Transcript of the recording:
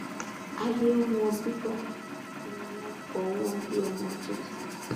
aiyé wọn bíbọ ni wọn bọ wọn bi ọmọ tuntun